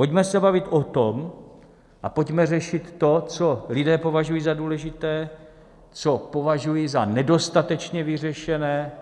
Pojďme se bavit o tom a pojďme řešit to, co lidé považují za důležité, co považují za nedostatečně vyřešené